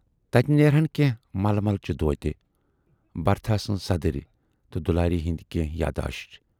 تتہِ نیرہَن کینہہ ململ چہِ دوتہِ، برتھاہ سٕنز صدٕرۍ تہٕ دُلاری ہٕندۍ کینہہ یاداش۔